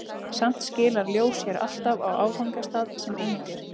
Samt skilar ljós sér alltaf á áfangastað sem eindir.